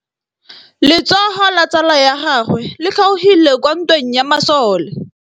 Letsôgô la tsala ya gagwe le kgaogile kwa ntweng ya masole.